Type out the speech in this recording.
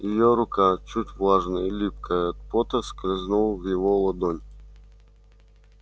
её рука чуть влажная и липкая от пота скользнула в его ладонь